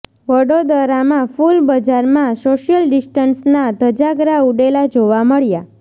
વડોદરામાં ફૂલ બજારમાં સોશિયલ ડિસ્ટન્સના ધજાગરા ઉડેલા જોવા મળ્યાં